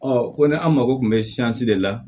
ko ni an mako kun bɛ de la